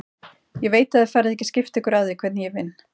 Ég veit að þið farið ekki að skipta ykkur af því hvernig ég vinn.